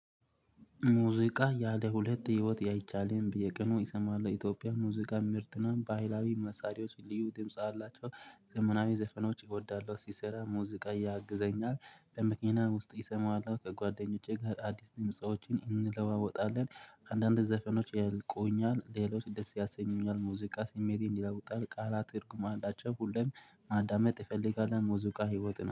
ሙዚቃ ያለ ሁለት ህይወት አይቻልም በየቀኑ ይሰማል ኢትዮጵያ ሙዚቃ ምርጥና ባህላዊ መሳሪያዎች ልዩ ድምጽ አላቸው ዘመናዊ ዘፈኖች እወዳለሁ ሲሰራ ሙዚቃ ያግዘኛል። በመኪና ውስጥ አሰማለሁ ከጓደኞቼ ጋር አዲስ ሙዚቃወችን እንለዋወጣለን። አንዳንድ ዘፈኖች ያልቆኛል ሌሎች ደስ ያሰኙኛል። ሙዚቃ ሲሜቴን ይለውጣል ቃላት ትርጉም አላቸው ሁሌም ማዳመጥ እፈልጋለሁ ሙዚቃ ህይወት